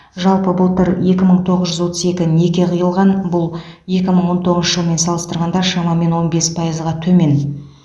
жалпы былтыр екі мың тоғыз жүз отыз екі неке қиылған бұл екі мың он тоғыз жылмен салыстырғанда шамамен он бес пайызға төмен